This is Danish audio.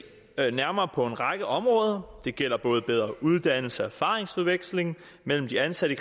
nærmere på en række områder det gælder både bedre uddannelse og erfaringsudveksling mellem de ansatte